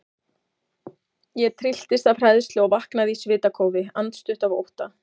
Ég trylltist af hræðslu og vaknaði í svitakófi, andstutt af ótta.